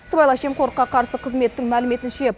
сыбайлас жемқорлыққа қарсы қызметтің мәліметінше